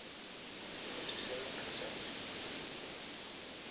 fourty seven percent